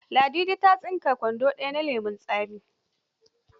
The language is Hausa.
Ladidi ta tsinki kwando ɗaya na lemon tsami.